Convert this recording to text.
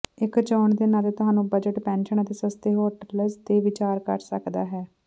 ਇੱਕ ਚੋਣ ਦੇ ਨਾਤੇ ਤੁਹਾਨੂੰ ਬਜਟ ਪੈਨਸ਼ਨ ਅਤੇ ਸਸਤੇ ਹੋਟਲਜ਼ ਤੇ ਵਿਚਾਰ ਕਰ ਸਕਦਾ ਹੈ